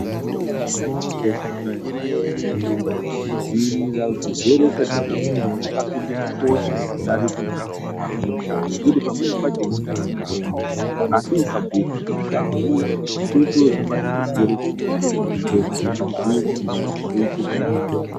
Hakuna mutombo umweni wakakosha kudai ngekudziirira. Kudziirira zvirwere zvisati zvaguma kwakapinde kukosha kudarike kuzozvirapa ngekuti pamweni pacho unotama mutombo asi ukabhuyirwa kuti usahura, kuitire kuti usabate chirwere chemukondombera. unozviziye kuti ndatoite zviro zvakanaka.